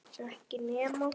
Ekki nema?